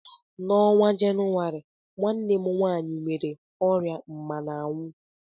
N'ọnwa Jenụwarị, nwanne m nwanyị nwere ọrịa mmana anwu